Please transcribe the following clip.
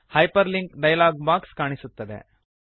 hyperlink dialog box ಕಾಣಿಸುತ್ತದೆ